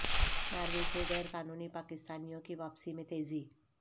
Norway سے غیر قانونی پاکستانیوں کی واپسی میں تیزی